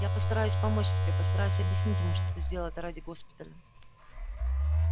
я постараюсь помочь тебе постараюсь объяснить ему что ты сделал это ради госпиталя